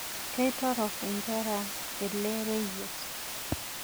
Keitoronok enkare ele reyiet.